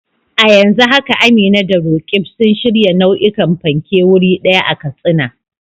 A yanzu haka Amina da Roqeeb suna shirya nau'ikan fanke wuri ɗaya a Katsina.